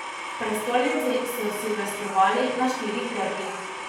V prestolnici so silvestrovali na štirih trgih.